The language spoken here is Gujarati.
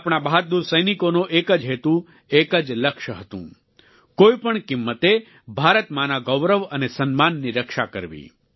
આપણા બહાદુર સૈનિકોનો એક જ હેતુ એક જ લક્ષ્ય હતું કોઈપણ કિંમતે ભારત માંના ગૌરવ અને સન્માનની રક્ષા કરવી